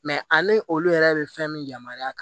Mɛ ani olu yɛrɛ bɛ fɛn min yamaruya